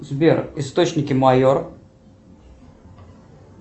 сбер источники майор